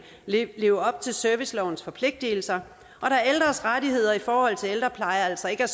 leve op til servicelovens forpligtelser og da ældres rettigheder i forhold til ældrepleje altså ikke er